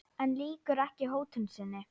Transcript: En lýkur ekki hótun sinni.